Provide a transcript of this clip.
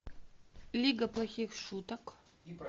лига плохих шуток